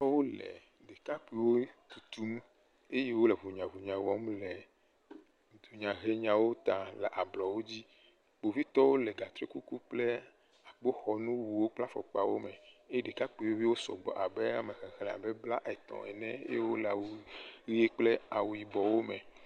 Kpovitɔwo le ɖakakpuiwo tutum eye wole ŋunyaŋunyaŋunyawo wɔm le Dunyahenyawo ta le ablɔwo dzi. Kpovitɔwo le gatrikuku kple akpoxɔnuwo kple afɔkpawo me eye ɖekakpuiviwo sɔgbɔ abe ame xexlẽ blaetɔ̃ ene eye wole awu ʋowo kpl awu yibɔwo me.